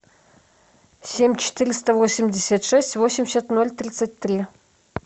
семь четыреста восемьдесят шесть восемьдесят ноль тридцать три